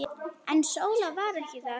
En Sóla var ekki þar.